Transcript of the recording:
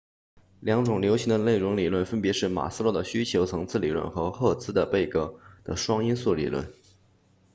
两种流行的内容理论分别是马斯洛的需求层次理论和赫茨贝格的双因素理论